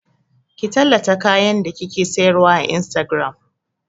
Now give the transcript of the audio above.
Ki tallata kayan da kike sayarwa a Instagram!